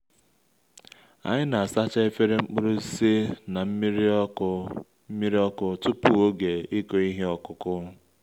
anyị na-asacha efere mkpụrụ osisi na nmiri ọkụ nmiri ọkụ tupu oge ịkụ ihe ọkụkụ